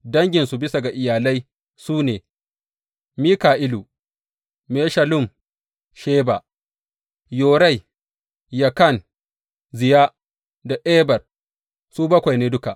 Danginsu, bisa ga iyalai su ne, Mika’ilu, Meshullam, Sheba, Yorai, Yakan, Ziya da Eber, su bakwai ne duka.